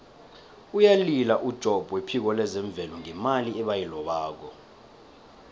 uyalila ujobb wephiko lezemvelo ngemali ebayilobako